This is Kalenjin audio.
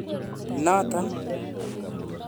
Noton.